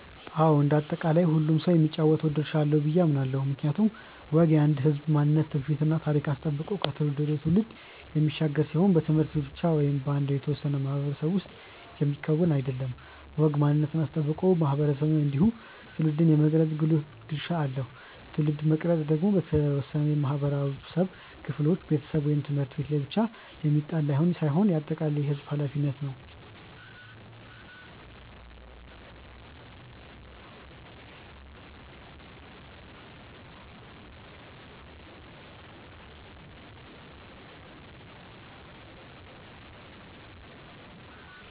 አዎ እንደ አጠቃላይ ሁሉም ሰው የሚጫወተው ድርሻ አለው ብዬ አምናለው። ምክንያቱም ወግ የአንድን ህዝብ ማንነት ትውፊት እና ታሪክ አስጠብቆ ከትውልድ ወደ ትውልድ የሚሻገር ሲሆን በት/ቤት ብቻ ወይም በአንድ የተወሰነ ማህበረሰብ ውስጥ የሚከወን አይደለም። ወግ ማንነትን አስጠብቆ ማህበረሰብን እንዲሁም ትውልድን የመቅረጽ ጉልህ ድርሻ አለው። ትውልድን መቅረጽ ደግሞ በተወሰኑ የማህበረሰብ ክፍሎች (ቤተሰብ፣ ት/ቤት) ላይ ብቻ የሚጣል ሳይሆን የአጠቃላይ የህዝቡም ኃላፊነት ነው።